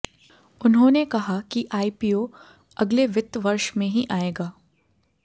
उन्होंने कहा कि आईपीओ अगले वित्त वर्ष में ही आएगा